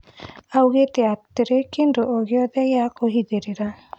Augĩte hatirĩ kĩndũ ogĩothe gĩa kũhithĩrĩra